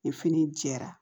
Ni fini jɛra